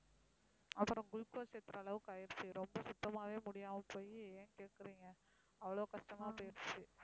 அப்புறம் குளுக்கோசு ஏத்துற அளவுக்கு ஆயிடுச்சு. ரொம்ப சுத்தமாவே முடியாம போய் ஏன் கேட்கறீங்க அவ்ளோ கஷ்டமா போயிடுச்சு.